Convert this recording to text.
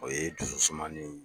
O ye dusu suman ni